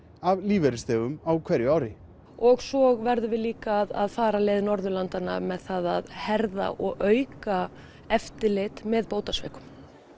af lífeyrisþegum á hverju ári og svo verðum við líka að fara leið Norðurlandanna með það að herða og auka eftirlit með bótasvikum